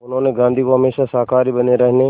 उन्होंने गांधी को हमेशा शाकाहारी बने रहने